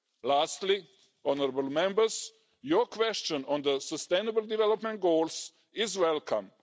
Lastly, honourable Members, your question on the Sustainable Development Goals is welcome.